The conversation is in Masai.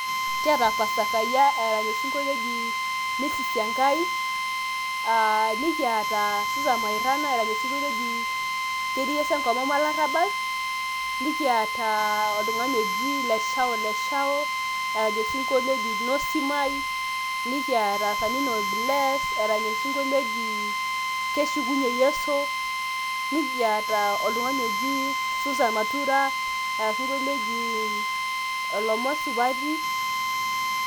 kiata pastor kayiaa erany osinkolio oji misissi engai ,nikiata susan moirana erany osingolio oji ketii yesu enkomom olarabal, nikiata oltungani oji leshao leshao orany osingolio oji nosim ai, nikiata oltungani oji sanino bless orany osinglio oji keshukunye yesu, nikiata oltung'ani oji susan matura orany osingolio oji ilomon supati.